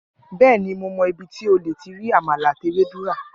Bẹẹni, Mo mọ ibí tí o ti lè rí àmàlà àti ewédú ra.